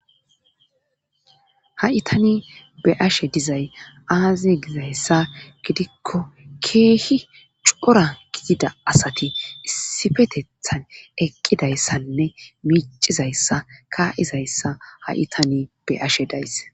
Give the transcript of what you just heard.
ha'itani beyashe dizay aazi gizayssa gidikko keehi cora gidida asati issifetethan eqqidayssanne miicizayssa ka''zayssa ha'i tani beyashe days.